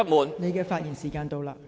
陳議員，發言時限到了。